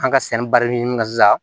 An ka sɛnɛ barika sisan